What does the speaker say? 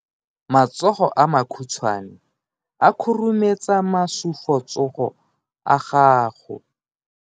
Matsogo a makhutshwane a khurumetsa masufutsogo a gago.